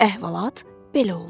Əhvalat belə oldu.